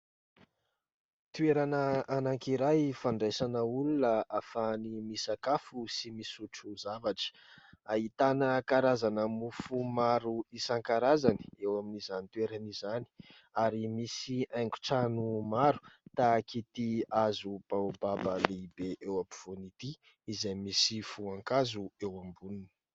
Toerana anaky iray fandraisana olona afahany misakafo sy misotro zavatra, ahitana karazana mofo maro isan-karazany eo amin'izany toerana izany, ary misy haingo-trano maro, tahaka ity hazo Baobaba lehibe eo ampovoany ity, izay misy voankazo eo amboniny.